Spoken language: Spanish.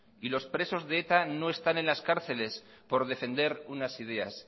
y los presos de eta no están en las cárceles por defender unas ideas